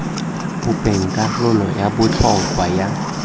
bopeng karolo ya botlhokwa ya